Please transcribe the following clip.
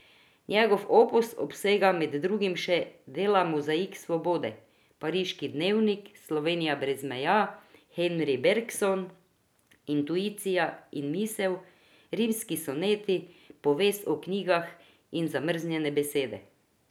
Njegov opus obsega med drugim še dela Mozaik svobode, Pariški dnevnik, Slovenija brez meja, Henri Bergson, intuicija in misel, Rimski soneti, Povest o knjigah in Zamrznjene besede.